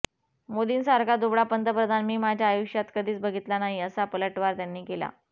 मोदींसारखा दुबळा पंतप्रधान मी माझ्या आयुष्यात कधीच बघितला नाही असा पलटवार त्यांनी केला